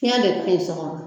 Fiɲɛ de tɛ yen